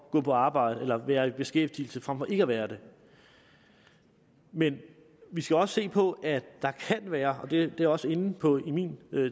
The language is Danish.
gå på arbejde og være i beskæftigelse frem for ikke at være det men vi skal også se på at der kan være og det jeg også inde på i min